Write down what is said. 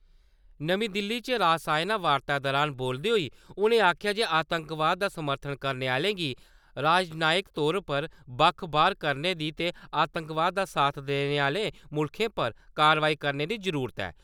नमीं दिल्ली च रासयना वार्ता दरान बोलदे हाई उ'नें आखेआ जे आतंकवाद दा समर्थन करने आह्लें गी राजनैयिक तौर पर बक्ख-बाह्‌र करने दी ते आतंकवाद दा साथ देने आह्ले मुल्खें पर कार्यवाही करने दी जरूरत ऐ।